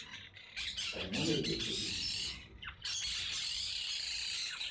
Então, não me deu prejuízo, três coisa.